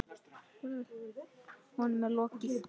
Honum er lokið!